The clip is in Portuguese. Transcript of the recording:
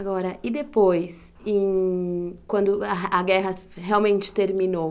Agora, e depois, em quando a guerra realmente terminou?